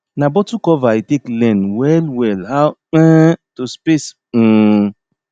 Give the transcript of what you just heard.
na bottle cover i take learn well well how um to space um